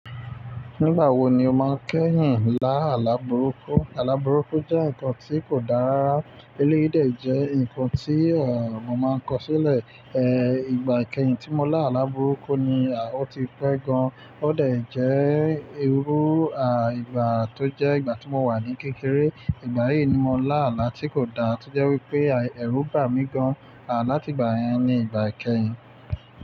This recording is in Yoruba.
Nígbà wo ni o máa ń kẹ́yìn láàla burúkú? Àlá burúkú jẹ́ nkan tí kò dáa rara. Eléyìí dẹ̀ jẹ́ ǹkan tí, à, mo máa ń kọ sílẹ̀. E, ìgbà ìkẹyìn tí mo lá àlá burúkú ni, à, ó ti pẹ́ gan. Ó dẹ̀ jẹ́, ìrú, à, ìgbà tó jẹ́ ìgbà tí mo wà ní kékeré. Ìgbà yìí ni mo lá àlá tí kò dáa, tó jẹ́ wípé, à, ẹ̀rù bà mí gan, à, láti ìgbà yẹn ní ìgbà ìkẹyìn.